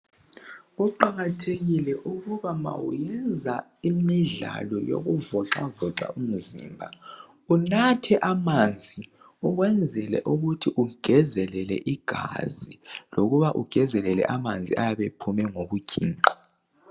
Kuqakathekile ukuba ma uyenza imidlalo yokuvoxavoxa umzimba unathe amanzi ukwenzela ukuthi ungezelele igazi lokuba ungezelele amanzi ayabe ephuma ngokuginqa.